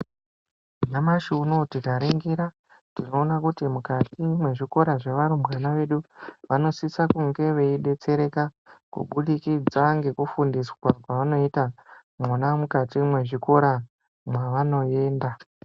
Nyamashi unouyu tikaringira tinoona kuti mukati mwezvikora zvevarumbwana vedu vanosise kunge veidetsereka kubudukidza ngekufundiswa kwavanoita mwona mukati mwezvikora mwavanoenda.